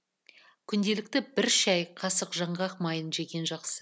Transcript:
күнделікті бір шай қасық жаңғақ майын жеген жақсы